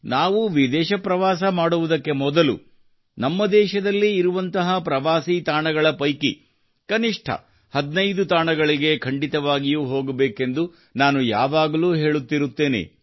ನಾವು ವಿದೇಶ ಪ್ರವಾಸ ಮಾಡುವುದಕ್ಕೆ ಮೊದಲು ನಮ್ಮ ದೇಶದಲ್ಲೇ ಇರುವಂತಹ ಪ್ರವಾಸಿ ತಾಣಗಳ ಪೈಕಿ ಕನಿಷ್ಠ 15 ತಾಣಗಳಿಗೆ ಖಂಡಿತವಾಗಿಯೂ ಹೋಗಬೇಕೆಂದು ನಾನು ಯಾವಾಗಲೂ ಹೇಳುತ್ತಿರುತ್ತೇನೆ